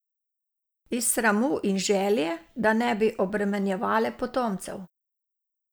Iz sramu in želje, da ne bi obremenjevale potomcev.